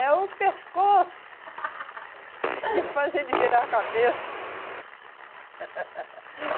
É o pescoço que faz ele virar a cabeça.